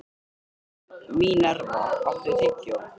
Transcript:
Mínerva, áttu tyggjó?